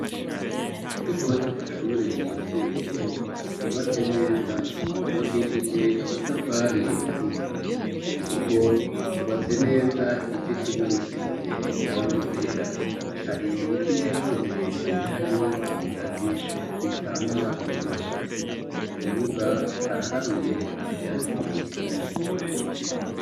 Ikigo c'amashure yisumbuye, cubatse neza, cubakishije amatafari ahiye, ku rugo hubatse neza, igice kimwe gisize irangi ryera, hari ibiti vyakuze birebire harimwo ibigazi bitanga umuyaga, mu kibuga haraharuye nta vyatsi bihari.